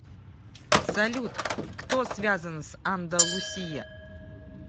салют кто связан с андалусия